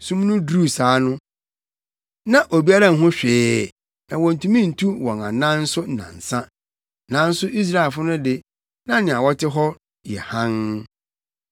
Sum no duruu saa no, na obiara nhu hwee na wontumi ntu wɔn anan nso nnansa. Nanso Israelfo no de, na nea wɔte hɔ yɛ hann.